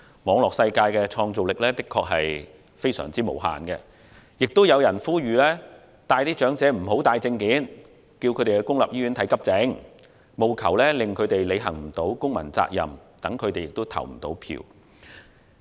網絡世界的創造力的確非常無限，更有人呼籲長者無須帶任何證件，以及帶他們到公立醫院輪候急症服務，務求令他們未能履行公民責任，讓他們無法投票。